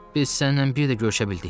Biz sənlə bir də görüşə bildik.